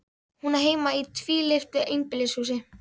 Hún á heima í tvílyftu einbýlishúsi.